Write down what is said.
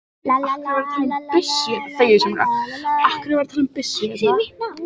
Reyndu ekki að segja mér að þú kunnir ekki að nota svona byssu.